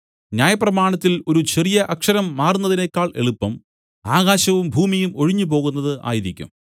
ന്യായപ്രമാണത്തിൽ ഒരു ചെറിയ അക്ഷരം മാറുന്നതിനേക്കൾ എളുപ്പം ആകാശവും ഭൂമിയും ഒഴിഞ്ഞുപോകുന്നത് ആയിരിക്കും